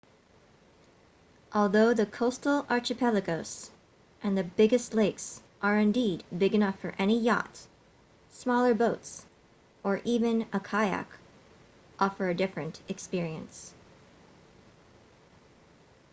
although the coastal archipelagos and the biggest lakes are indeed big enough for any yacht smaller boats or even a kayak offer a different experience